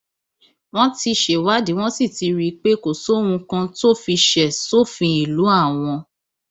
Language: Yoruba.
wọn ti ṣèwádìí wọn sì ti rí i pé kò sóhun kan tó fi ṣe sófin ìlú àwọn